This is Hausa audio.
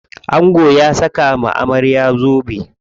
Angon ya saka wa amarya zobe.